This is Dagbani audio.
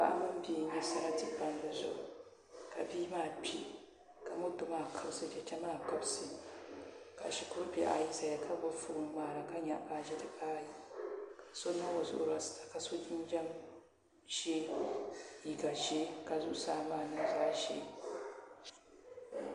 Paɣa mini bia n-nya sarati palli zuɣu ka bia maa kpi ka moto maa kabisi cheche maa kabisi ka shikuru bihi ayi zaya ka gbubi fooni n-ŋmaara ka nyaɣi baaji dibaayi ka so niŋ o zuɣu rasita ka so jinjam ʒee liiga ʒee ka zuɣusaa maa niŋ zaɣ’ ʒee